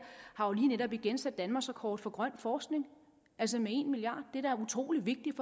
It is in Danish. har jo lige netop igen sat danmarksrekord for grøn forskning altså med en milliard det er da utrolig vigtigt